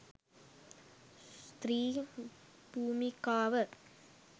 ස්ත්‍රී භූමිකාව